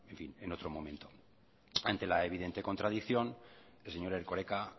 en otro momento ante la evidente contradicción el señor erkoreka